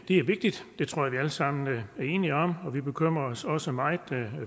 er vigtigt det tror jeg sammen er enige om og vi bekymrer os også meget